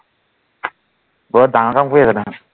বৰ ডাঙৰ কাম কৰি আছা তাৰ মানে